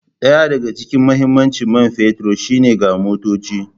Ɗaya daga cikin mahimmancin man fetur shine ga motoci.